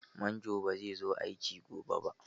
Manjon bai zai zo aiki gobe ba.